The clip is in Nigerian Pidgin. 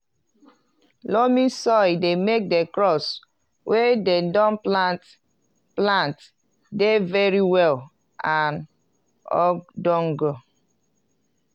loamy soil dey make the crops wey dem don plant plant dey very well and ogdonge.